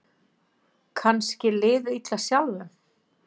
Kannski liðið illa sjálfum.